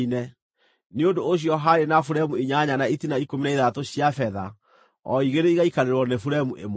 Nĩ ũndũ ũcio haarĩ na buremu inyanya na itina ikũmi na ithathatũ cia betha; o igĩrĩ igaikarĩrwo nĩ buremu ĩmwe.